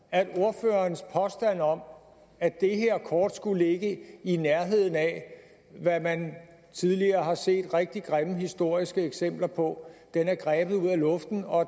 at ordførerens påstand om at det her kort skulle ligge i nærheden af hvad man tidligere har set rigtig grimme historiske eksempler på er grebet ud af luften og